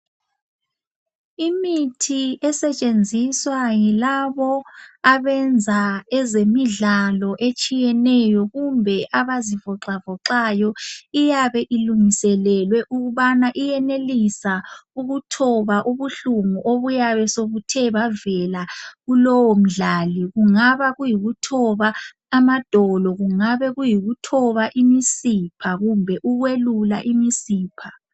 Imithi esetshenziswa yilabo abenza ezemidlalo etshiyeneyo kumbe abazivoxa voxayo iyabe ilungiselelwe ukubana iyenelisa ukuthoba ubuhlungu obuyabe sobuthe bavela kulowo mdlali. Kungaba kuyikuthoba amadolo, kungaba kuyikuthoba imisipha kumbe ukwelula imisipha.